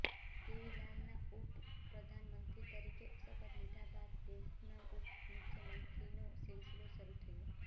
દેવીલાલનાં ઉપપ્રધાનમંત્રી તરીકે શપથ લીધા બાદ દેશમાં ઉપમુખ્યમંત્રીનો સિલસિલો શરૂ થયો